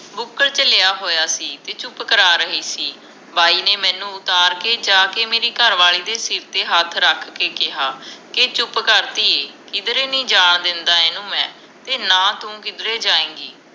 ਬੁਕਲ ਚ ਲਿਆ ਹੋਇਆਂ ਸੀ ਤੇ ਚੁੱਪ ਕਰਾ ਰਹੀ ਸੀ ਬਾਈ ਨੇ ਮੈਨੂੰ ਉਤਾਰ ਕੇ ਜਾ ਕੇ ਮੇਰੀ ਘਰਵਾਲੀ ਦੇ ਸਿਰ ਤੇ ਹੱਥ ਰੱਖ ਕੇ ਕਿਹਾ ਕਿ ਚੁੱਪ ਕਰ ਧੀਏ ਕਿੱਧਰੇ ਨੀ ਜਾਣ ਦਿੰਦਾ ਇਹਨੀ ਮੈਂ ਤੇ ਨਾ ਤੂੰ ਕਿੱਧਰੇ ਜਾਏਗੀ